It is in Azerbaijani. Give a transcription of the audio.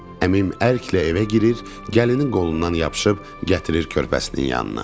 Əmim ərklə evə girir, gəlini qolundan yapışıb gətirir körpəsinin yanına.